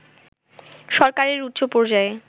সরকারের উচ্চপর্যায়ে